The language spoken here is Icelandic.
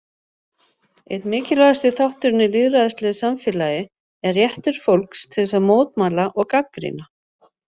Einn mikilvægasti þátturinn í lýðræðislegu samfélagi er réttur fólks til að mótmæla og gagnrýna.